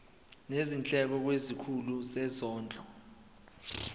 nezindleko kwisikhulu sezondlo